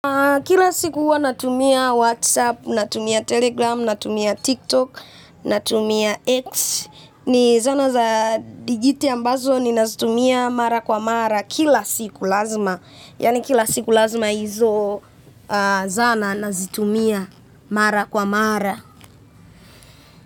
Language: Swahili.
Kila siku huwa natumia Whatsapp, natumia Telegram, natumia TikTok, natumia X. Ni zana za digiti ambazo ni nazitumia mara kwa mara kila siku lazima yani kila siku lazima hizo zana nazitumia mara kwa mara.